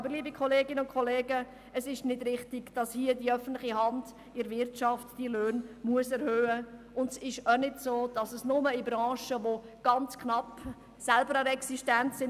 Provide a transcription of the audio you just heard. Aber, liebe Kolleginnen und Kollegen, es ist nicht richtig, dass hier die öffentliche Hand in der Wirtschaft diese Löhne erhöhen muss, und es ist auch nicht so, dass nur in Branchen Tieflöhne bezahlt werden, die selber ganz knapp an der Existenz sind.